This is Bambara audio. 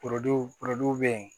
bɛ yen